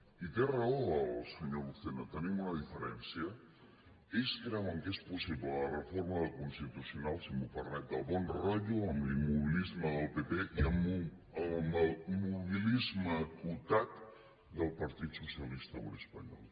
i té raó el senyor lucena tenim una diferència ells creuen que és possible la reforma del constitucional si m’ho permet de bon rotllo amb l’immobilisme del pp i amb el mobilisme acotat del partit socialista obrer espanyol